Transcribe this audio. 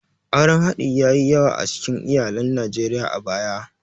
Auren haɗi ya yi yawa a cikin iyalan Najeriya a baya.